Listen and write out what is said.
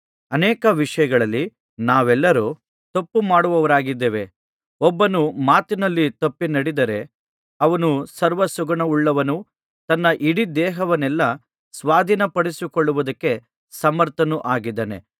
ಅನೇಕ ವಿಷಯಗಳಲ್ಲಿ ನಾವೆಲ್ಲರೂ ತಪ್ಪುಮಾಡುವವರಾಗಿದ್ದಾರೆ ಒಬ್ಬನು ಮಾತಿನಲ್ಲಿ ತಪ್ಪಿ ನಡೆಯದಿದ್ದರೆ ಅವನು ಸರ್ವಸುಗುಣವುಳ್ಳವನೂ ತನ್ನ ಇಡೀ ದೇಹವನ್ನೆಲ್ಲಾ ಸ್ವಾಧೀನಪಡಿಸಿಕೊಳ್ಳುವುದಕ್ಕೆ ಸಮರ್ಥನೂ ಆಗಿದ್ದಾನೆ